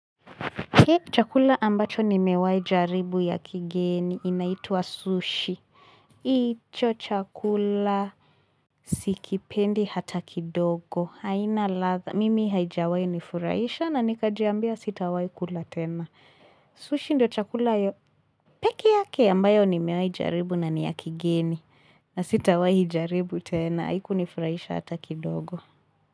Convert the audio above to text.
Hi chakula ambacho ni mewahi jaribu ya kigeni inaituwa sushi. Hi cho chakula sikipendi hata kidogo. Haina ladha. Mimi haijawai nifuraisha na nikajiambia sitawai kula tena. Sushi ndio chakula pekeeyake ambayo ni mewahi jaribu na ni ya kigeni. Na sitawai jaribu tena. Haiku nifuraisha hata kidogo.